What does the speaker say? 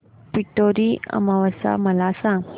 पिठोरी अमावस्या मला सांग